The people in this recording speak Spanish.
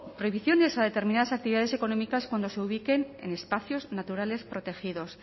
prohibiciones a determinadas actividades económicas cuando se ubiquen en espacios naturales protegidos